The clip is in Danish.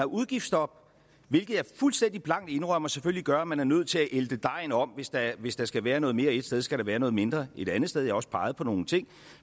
udgiftsstop hvilket jeg fuldstændig blankt indrømmer selvfølgelig gør at man er nødt til at ælte dejen om hvis der hvis der skal være noget mere et sted skal der være noget mindre et andet sted jeg har også peget på nogle ting